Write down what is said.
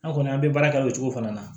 An kɔni an bɛ baara kɛ o cogo fana na